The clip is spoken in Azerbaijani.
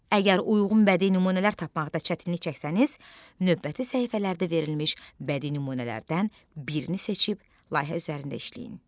Əgər uyğun bədi nümunələr tapmaqda çətinlik çəksəniz, növbəti səhifələrdə verilmiş bədi nümunələrdən birini seçib layihə üzərində işləyin.